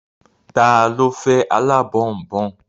Ta ló fẹ́ alábọ̀nbọ̀n?